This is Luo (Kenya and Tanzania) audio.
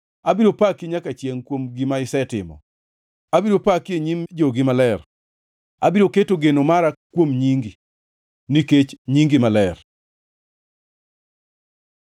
Abiro paki nyaka chiengʼ kuom gima isetimo; abiro paki e nyim jogi maler. Abiro keto geno mara kuom nyingi, nikech nyingi ber.